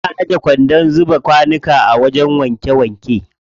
Ana ajiye kwandon zuba kwanuka a wajen wanke wanke.